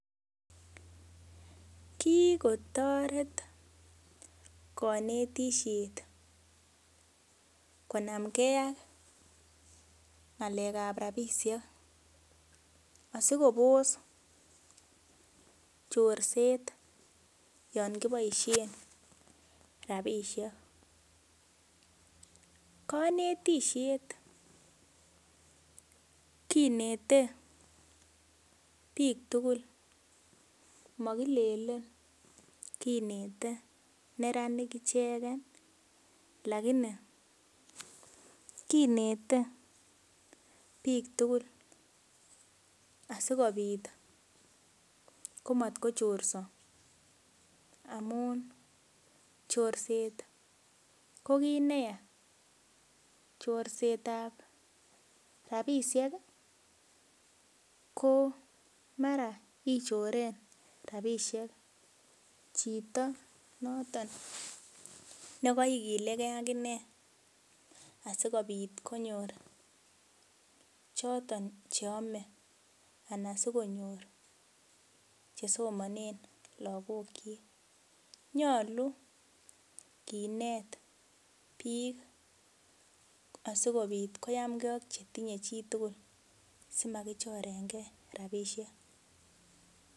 Kikotoret konetishet konamkee ak ngalekap rapishek asikopos chorset Yoon kiboishen rapishek konetishet kinete biik tugul mokilelen kinete neranik icheken lagini kinete biik tugul asikopit komotkochorso amun chorset kokit nea chorsetab rapisheki ko mara ichoren rapishek chito noton nekoikilekee akine asikopit konyor choton cheome anan sikonyor chesomonen lagokkyik yoche Kinet biik sikopit koyamkee ak chetinye chitugul simakichorenge rapishek